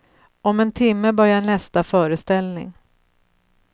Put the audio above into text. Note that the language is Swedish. Om en timme börjar nästa föreställning.